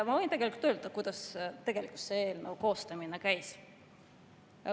Ma võin öelda, kuidas tegelikult selle eelnõu koostamine käis.